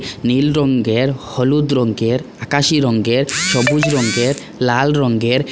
নীল রঙ্গের হলুদ রঙ্গের আকাশী রঙ্গের সবুজ রঙ্গের লাল রঙ্গের ।